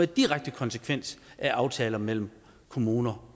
direkte konsekvens af aftaler mellem kommuner